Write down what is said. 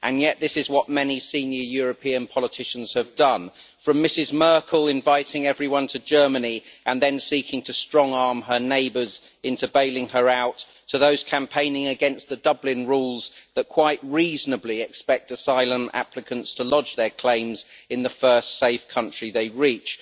Yet this is what many senior European politicians have done from Mrs Merkel inviting everyone to Germany and then seeking to strong arm her neighbours into bailing her out, to those campaigning against the Dublin rules that quite reasonably expect asylum applicants to lodge their claims in the first safe country they reach.